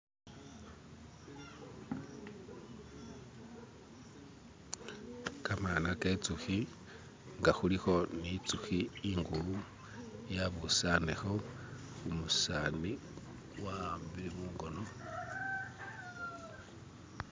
Gamana genzuki nga kuliko ninzuki inkulu yabusanileko numuseza wawambile munkono.